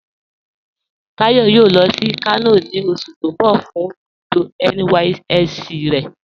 Táyọ̀ yóò lọ sí Kano ni oṣù̀ ti n bọ̀ fun ibùdó NYSC rẹ̀